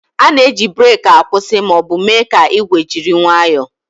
A na-eji breeki akwụsị ma ọ bụ mee ka igwe jiri nwayoo